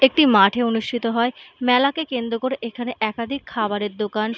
এবং পাহাড়টি খুব সুন্দর লাগছে দেখতে।